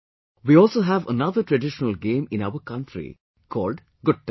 We also have another traditional game in our country called "Gutta